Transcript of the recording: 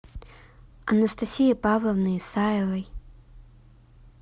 анастасии павловны исаевой